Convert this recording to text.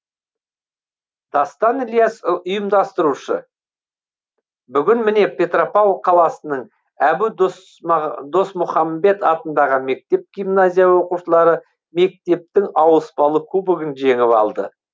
дастан ілияс ұйымдастырушы бүгін міне петропавл қаласының әбу досмұхамбетов атындағы мектеп гимназия оқушылары мектептің ауыспалы кубогын жеңіп алды